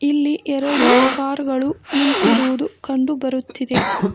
ಇಲ್ಲಿ ಎರಡು ಕಾರ್ ಗಳು ನಿಂತಿರುವುದು ಕಂಡು ಬರುತ್ತಿದೆ.